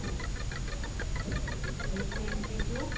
eight nine three two